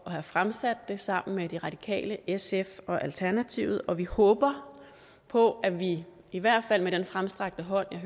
have fremsat det sammen med de radikale sf og alternativet og vi håber på at vi i hvert fald med den fremstrakte hånd jeg